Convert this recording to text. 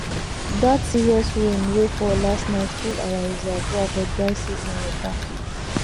that serious rain wey fall last night full our reservoir for dry season water